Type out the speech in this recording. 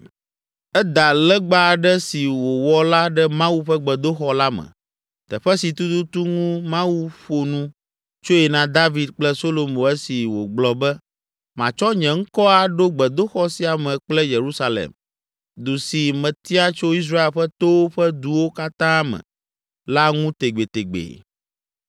Eda legba aɖe si wòwɔ la ɖe Mawu ƒe gbedoxɔ la me, teƒe si tututu ŋu Mawu ƒo nu tsoe na David kple Solomo esi wògblɔ be, “Matsɔ nye ŋkɔ aɖo gbedoxɔ sia me kple Yerusalem, du si metia tso Israel ƒe towo ƒe duwo katã me la ŋu tegbetegbe!